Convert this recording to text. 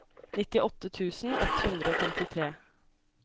nittiåtte tusen ett hundre og femtitre